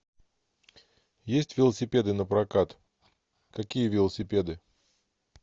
есть велосипеды на прокат какие велосипеды